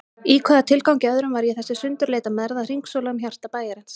Í hvaða tilgangi öðrum var ég og þessi sundurleita mergð að hringsóla um hjarta bæjarins?